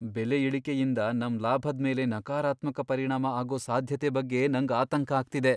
ಬೆಲೆ ಇಳಿಕೆಯಿಂದ ನಮ್ ಲಾಭದ್ಮೇಲೆ ನಕಾರಾತ್ಮಕ ಪರಿಣಾಮ ಆಗೋ ಸಾಧ್ಯತೆ ಬಗ್ಗೆ ನಂಗ್ ಆತಂಕ ಆಗ್ತಿದೆ.